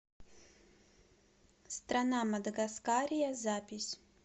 страна мадагаскария запись